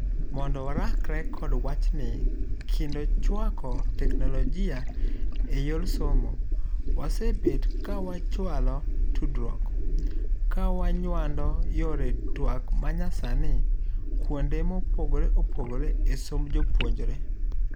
Mondo warakre kod wachni kendo chwako teknologia eyor somo, wasebet kawachualo tudruok kawanyuando yore tuak manyasani kuonde mopogore opogore esomb jopuonjre.